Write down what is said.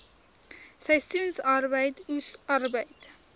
seisoensarbeid oes arbeid